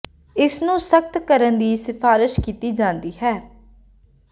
ਇਸ ਨੂੰ ਸਖਤ ਕਰਨ ਦੀ ਸਿਫਾਰਸ਼ ਕੀਤੀ ਜਾਂਦੀ ਹੈ